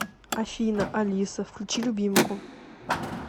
афина алиса включи любимку